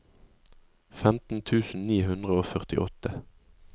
femten tusen ni hundre og førtiåtte